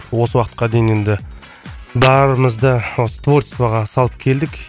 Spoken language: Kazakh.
осы уақытқа дейін енді барымызды осы творчестваға салып келдік